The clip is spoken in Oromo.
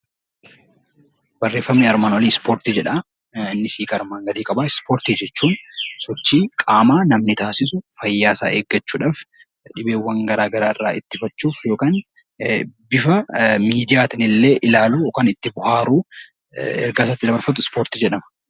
Ispoortii jechuun sochii qaamaa namni taasisu fayyaa isaa eeggachuudhaaf, dhibeewwan garaa garaa irraa of ittisuuf yookiin bifa miidiyaatiin ilaaluu yookiin itti bo'aaruun ispoortii jedhama.